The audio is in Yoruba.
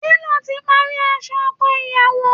Télò ti pari aṣọ ọkọ iyàwó